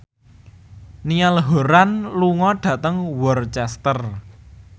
Niall Horran lunga dhateng Worcester